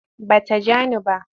Ba ta ja ni ba.